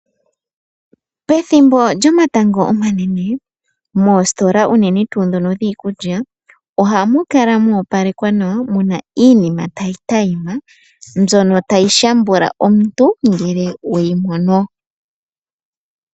Pethimbo lyomatango omanene moositola unene tuu dhono dhiikulya ohamu kala mwa opalekwa nawa muna iinima tayi tayima, mbyono tayi shambula omuntu ngele weyi mono.